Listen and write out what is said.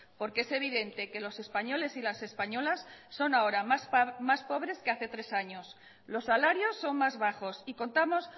porque es evidente que los españoles y las españolas son ahora más pobres que hace tres años los salarios son más bajos y contamos